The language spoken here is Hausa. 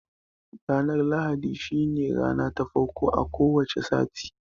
Ranar lahadi shi ne rana ta farko a ko wace sati